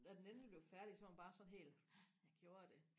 da den endelig blev færdig så var man bare sådan helt jeg gjorde det